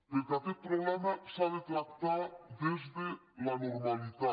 perquè aquest problema s’ha de tractar des de la normalitat